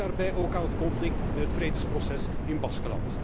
Ik denk daarbij ook aan het conflict en het vredesproces in Baskenland.